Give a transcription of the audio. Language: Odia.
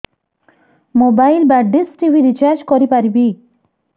ମୋବାଇଲ୍ ବା ଡିସ୍ ଟିଭି ରିଚାର୍ଜ କରି ପାରିବି